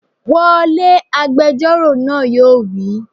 Wọlé!, agbẹjọ́rò náà yóò wí